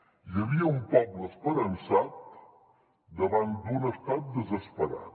hi havia un poble esperançat davant d’un estat desesperat